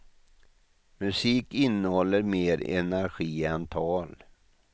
Musik innehåller mer energi än tal.